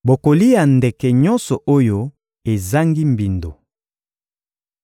Bokolia ndeke nyonso oyo ezangi mbindo.